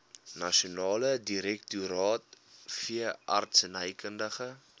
nasionale direktoraat veeartsenykundige